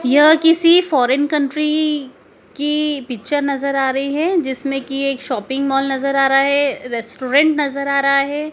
यह किसी foreign country की पिक्चर नजर आ रही है जिसमें की एक शॉपिंग मॉल नजर आ रहा है रेस्टोरेंट नजर आ रहा है।